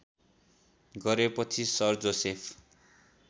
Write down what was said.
गरेपछि sir Joseph